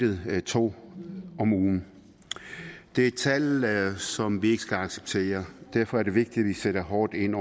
to om ugen det er et tal som vi ikke skal acceptere derfor er det vigtigt at vi sætter hårdt ind